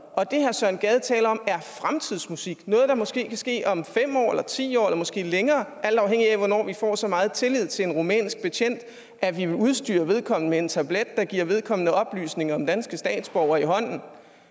og det herre søren gade taler om er fremtidsmusik altså noget der måske kan ske om fem år eller ti år eller måske længere alt afhængigt af hvornår vi får så meget tillid til en rumænsk betjent at vi udstyrer vedkommende med en tablet der giver vedkommende oplysninger om danske statsborgere i hånden